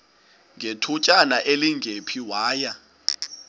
ngethutyana elingephi waya